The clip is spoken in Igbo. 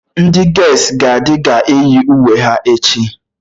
Ndị ges gaịdị ga-eyi uwe ha echi